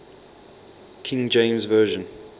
king james version